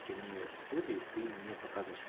трени студия ты не показываешь св